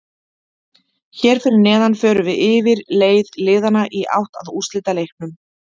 Hér fyrir neðan förum við yfir leið liðanna í átt að úrslitaleiknum.